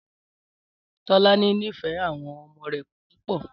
Tọ́lání nífẹ̀ẹ́ àwọn ọmọ rẹ̀ púpọ̀